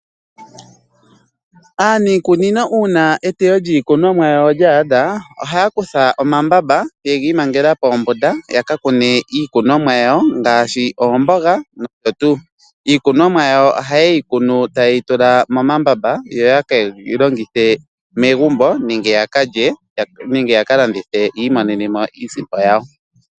Aanikunono uuna etewo lyiikunomwa lyaadha, ohaya kutha omambaba ye giimangela poombunda yaka kone iikunemo yawo ngaashi oombuga nosho tuu. Iikunomo yawo ohaye yi kona taye yi tula momambaba yo ye keyi longithe megumbo nenge ya kalye, nenge ya kalandithe yiimonene mo iisimpo yawo.